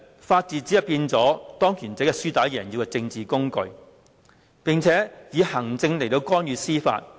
法治成為了當權者"輸打贏要"的政治工具，並且以行政干預司法。